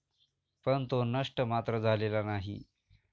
पण तो नष्ट मात्र झालेला नाही.